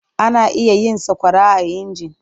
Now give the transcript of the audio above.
Ana iya yin sakwara a inji.